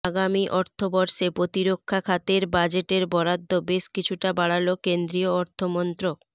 আগামী অর্থবর্ষে প্রতিরক্ষা খাতের বাজেটের বরাদ্দ বেশ কিছুটা বাড়াল কেন্দ্রীয় অর্থমন্ত্রক